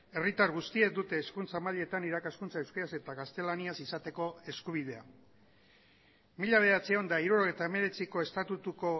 herritar guztiek dute hezkuntza mailetan irakaskuntza euskaraz eta gaztelaniaz izateko eskubidea mila bederatziehun eta hirurogeita hemeretziko estatutuko